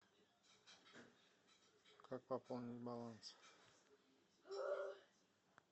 как пополнить баланс